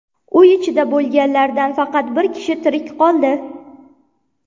Uy ichida bo‘lganlardan faqat bir kishi tirik qoldi.